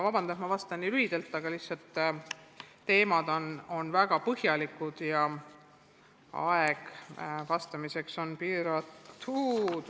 Vabandust, et ma vastan nii lühidalt, aga lihtsalt need teemad on nii ulatuslikud ja aeg vastamiseks on piiratud.